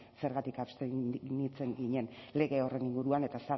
zergatik abstenitzen ginen lege horren inguruan eta